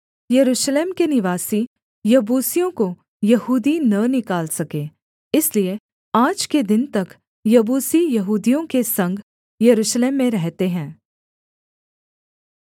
यरूशलेम के निवासी यबूसियों को यहूदी न निकाल सके इसलिए आज के दिन तक यबूसी यहूदियों के संग यरूशलेम में रहते हैं